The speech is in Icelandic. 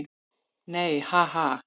Nei, ha, ha.